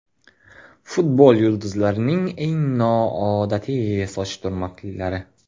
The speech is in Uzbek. Futbol yulduzlarining eng noodatiy soch turmaklari .